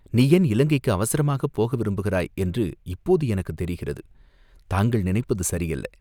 "நீ ஏன் இலங்கைக்கு அவசரமாகப் போக விரும்புகிறாய் என்று இப்போது எனக்குத் தெரிகிறது." தாங்கள் நினைப்பது சரியல்ல.